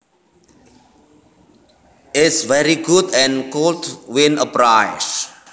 is very good and could win a prize